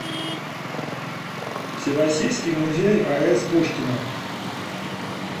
всероссийский музей ас пушкина